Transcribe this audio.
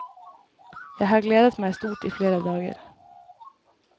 Jeg har gledet meg stort i flere dager.